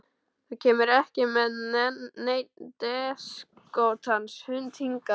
Þú kemur ekki með neinn déskotans hund hingað inn.